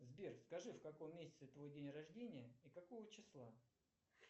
сбер скажи в каком месяце твой день рождения и какого числа